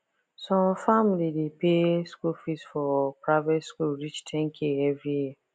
some family dey pay school fees for private school reach 10k every year